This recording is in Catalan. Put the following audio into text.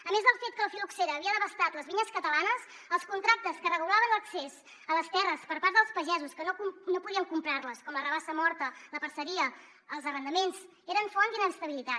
a més del fet que la fil·loxera havia devastat les vinyes catalanes els contractes que regulaven l’accés a les terres per part dels pagesos que no podien comprar les com la rabassa morta la parceria els arrendaments eren font d’inestabilitat